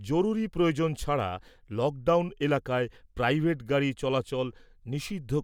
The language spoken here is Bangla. জরুরি প্রয়োজন ছাড়া লকডাউন এলাকায় প্রাইভেট গাড়ি চলাচল নিষিদ্ধ